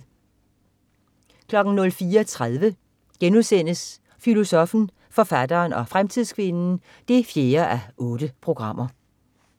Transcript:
04.30 Filosoffen, forfatteren og fremtidskvinden 4:8*